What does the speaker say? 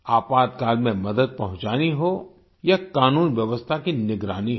आपातकाल में मदद पहुंचानी हो या कानून व्यवस्था की निगरानी हो